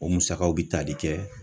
O musakaw bi tali kɛ